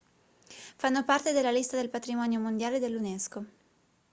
fanno parte della lista del patrimonio mondiale dell'unesco